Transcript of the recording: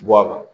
Bɔ a la